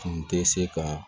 Tun tɛ se ka